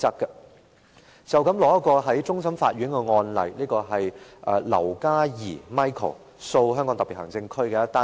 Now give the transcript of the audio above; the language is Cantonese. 可以參考的，是一宗終審法院的案例劉嘉兒訴香港特別行政區。